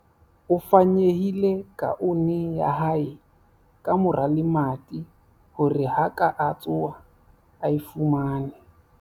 o fanyehile kaone ya hae ka mora lemati hore ha a ka tsoha a e fumane